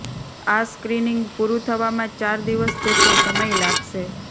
આ સ્ક્રીનિંગ પૂરું થવામાં ચાર દિવસ જેટલો સમય લાગશે